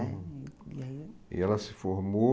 E ela se formou...